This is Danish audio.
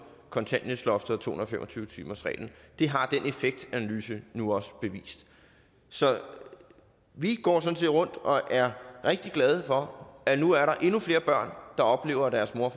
kontanthjælpsloftet og to hundrede og fem og tyve timersreglen det har den effektanalyse nu også bevist så vi går sådan set rundt og er rigtig glade for at der nu er endnu flere børn der oplever at deres mor